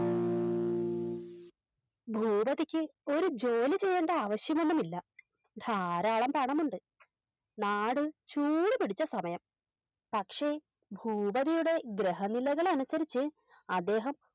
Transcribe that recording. ഭൂപതിക്ക് ഒരു ജോലിചെയ്യണ്ട ആവശ്യമൊന്നുമില്ല ധാരാളം പണമുണ്ട് നാട് ചൂട് പിടിച്ച സമയം പക്ഷെ ഭുപതിയുടെ ഗൃഹനിലകളനുസരിച്ച് അദ്ദേഹം